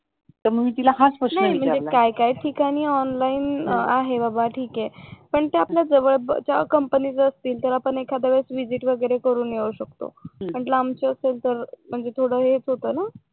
नाही काही ठिकाणी ऑनलाईन आहे बाबा ठीक आहे पण ते आपल्या जवळच्या ठिकाणी असतील तर आपण एखाद्या वेळेस विजिट वगैरे करून येऊ शकतो हम्म आणि लांबच असेल तर म्हणजे थोडं हेच होत ना